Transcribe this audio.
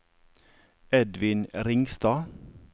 Edvin Ringstad